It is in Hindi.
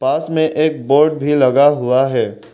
पास में एक बोर्ड भी लगा हुआ है।